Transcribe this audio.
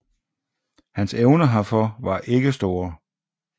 Hans evner herfor var ikke store